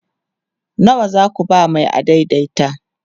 nawa zaku ba Mai adaidaita?